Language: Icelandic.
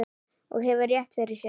Og hefur rétt fyrir sér.